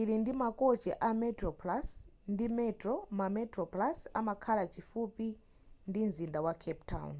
ili ndi makochi a metroplus ndi metro ma metroplus amakhala chifupi ndi mzinda wa cape town